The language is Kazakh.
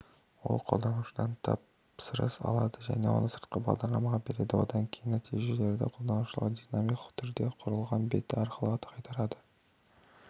ол қолданушыдан тапсырыс алады оны сыртқы бағдарламаға береді одан кейін нәтижелерді қолданушыға динамикалық түрде құрылған беті арқылы қайтарады